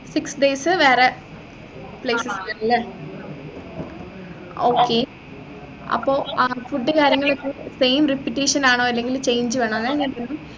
six days വേറെ places ല്ലേ okay അപ്പൊ ആഹ് food കാര്യങ്ങളൊക്കെ same repeatation ആണോ അതോ change വേണോ അതാ ഞാൻ